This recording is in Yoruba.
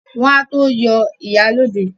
Wọ́n á tó yọ ìyálóde